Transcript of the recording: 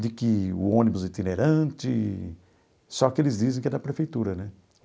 de que o ônibus itinerante... Só que eles dizem que é da prefeitura, né?